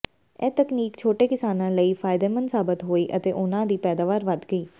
ਇਹ ਤਕਨੀਕ ਛੋਟੇ ਕਿਸਾਨਾਂ ਲਈ ਫ਼ਾਇਦੇਮੰਦ ਸਾਬਤ ਹੋਈ ਅਤੇ ਉਨ੍ਹਾਂ ਦੀ ਪੈਦਾਵਾਰ ਵਧ ਗਈ